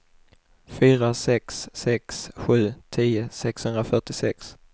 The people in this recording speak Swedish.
fyra sex sex sju tio sexhundrafyrtiosex